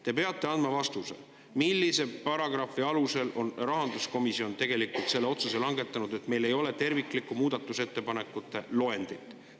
Te peate andma vastuse, millise paragrahvi alusel on rahanduskomisjon langetanud selle otsuse, et meile ei ole terviklikku muudatusettepanekute loendit.